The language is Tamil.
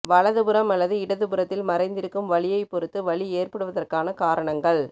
வலதுபுறம் அல்லது இடதுபுறத்தில் மறைந்திருக்கும் வலியைப் பொறுத்து வலி ஏற்படுவதற்கான காரணங்கள்